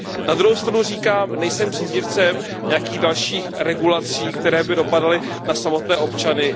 Na druhou stranu říkám, nejsem příznivcem nějakých dalších regulací, které by dopadaly na samotné občany.